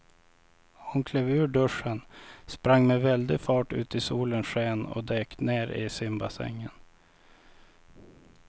Hon klev ur duschen, sprang med väldig fart ut i solens sken och dök ner i simbassängen.